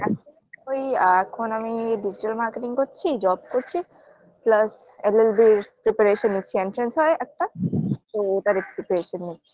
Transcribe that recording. এখন ওই এখন আমি digital marketing করছি job করছি Plus llb preparation নিচ্ছি entrance হয় একটা তো ওটার preparation নিচ্ছি